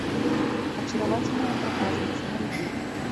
очаровательная проказница найди